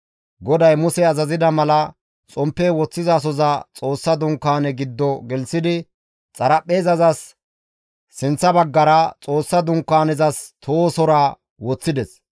GODAY Muse azazida mala, xomppe woththizasoza Xoossa Dunkaane giddo gelththidi, xaraphpheezas sinththa baggara, Xoossa Dunkaanezas tohosora woththides;